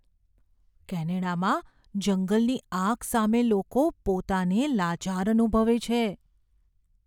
કેનેડામાં જંગલની આગ સામે લોકો પોતાને લાચાર અનુભવે છે.